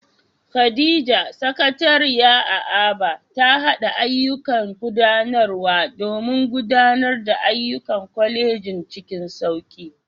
Khadija, Sakatariya a Aba, ta haɗa ayyukan gudanarwa domin gudanar da ayyukan kwalejin cikin sauki.